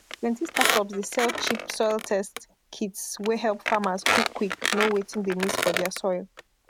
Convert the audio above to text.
plenty startups dey sell cheap soil test kits wey help farmers quick quick know wetin dey miss for dia soil